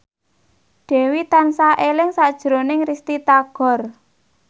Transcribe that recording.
Dewi tansah eling sakjroning Risty Tagor